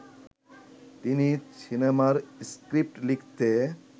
তিনি সিনেমার স্ক্রিপ্ট লিখতে